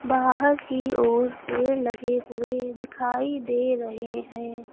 बाहर की ओर पेड़ लगे हुए दिखाई दे रहे हैं।